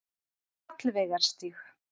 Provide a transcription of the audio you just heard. Hallveigarstíg